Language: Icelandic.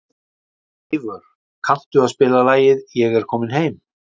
Eyvör, kanntu að spila lagið „Ég er kominn heim“?